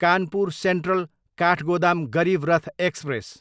Kanpur central, Kathgodam Garib Rath express